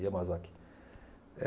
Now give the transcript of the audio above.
Yamazaki. Eh